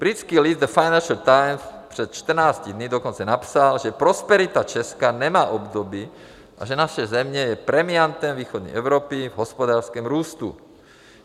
Britský list The Financial Times před 14 dny dokonce napsal, že prosperita Česka nemá obdoby a že naše země je premiantem východní Evropy v hospodářském růstu.